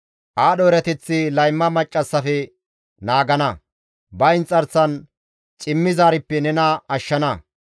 Aadho erateththi layma maccassafe naagana; ba inxarsan cimmizaarippe nena ashshana.